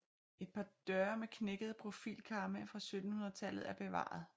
Et par døre med knækkede profilkarme fra 1700 tallet er bevaret